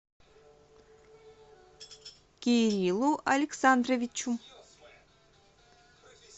кириллу александровичу